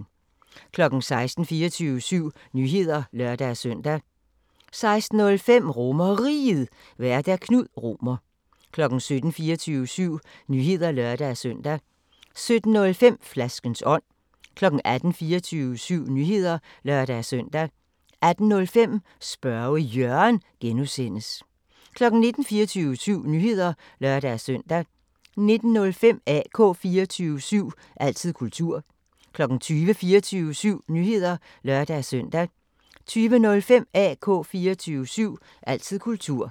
16:00: 24syv Nyheder (lør-søn) 16:05: RomerRiget, Vært: Knud Romer 17:00: 24syv Nyheder (lør-søn) 17:05: Flaskens ånd 18:00: 24syv Nyheder (lør-søn) 18:05: Spørge Jørgen (G) 19:00: 24syv Nyheder (lør-søn) 19:05: AK 24syv – altid kultur 20:00: 24syv Nyheder (lør-søn) 20:05: AK 24syv – altid kultur